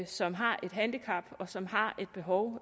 som har et handicap og som har et behov